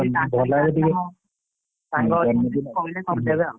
ସାଙ୍ଗ ହେଇକି! ମୁଁ କହିଲେ କରି ଦେବେ ଆଉ।